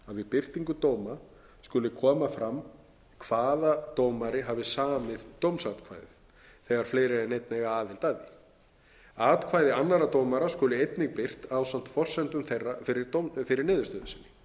birtingu dóma skulu koma fram hvaða dómari hafi samið dómsatkvæði þegar fleiri en einn eiga aðild að því atkvæði annarra dómara skulu einnig birt ásamt forsendum þeirra fyrir niðurstöðu sinni